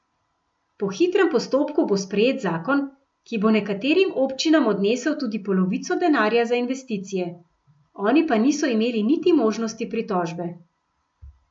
Po hitrem postopku bo sprejet zakon, ki bo nekaterim občinam odnesel tudi polovico denarja za investicije, oni pa niso imeli niti možnosti pritožbe.